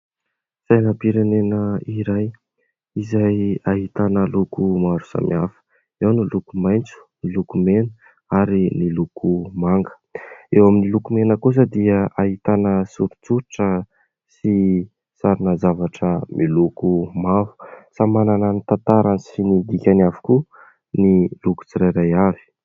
Sainam-pirenena iray izay ahitana loko maro samy hafa. Eo ny loko maitso, ny loko mena ary ny loko manga. Eo amin'ny loko mena kosa dia ahitana soritsoritra sy sarina zavatra miloko mavo. Samy manana ny tantarany sy ny dikany avokoa ny loko tsirairay avy.